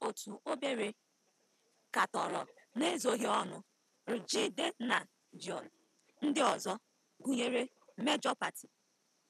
Ndị otu obere katọrọ n'ezoghị ọnụ rJidennagions ndị ọzọ, gụnyere Major Party.